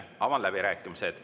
Avan läbirääkimised.